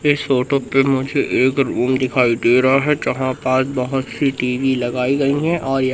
इस फोटो पे मुझे एक रूम दिखाई दे रहा है जहां पास बहोत सी टी_वी लगाई गई हैं और--